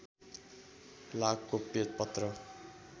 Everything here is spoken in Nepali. लाख गोप्य पत्र